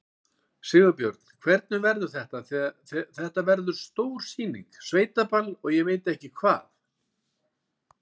Sigurbjörn, hvernig verður þetta, þetta verður stór sýning, sveitaball og ég veit ekki hvað?